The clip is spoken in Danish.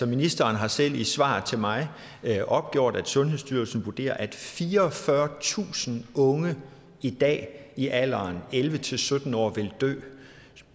ministeren har selv i sit svar til mig opgjort at sundhedsstyrelsen vurderer at fireogfyrretusind unge i dag er i alderen elleve til sytten år vil dø